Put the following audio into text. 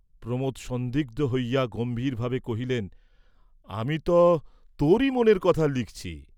প্রমোদ সন্দিগ্ধ হইয়া গম্ভীর ভাবে কহিলেন, আমি ত তোরি মনের কথা লিখছি।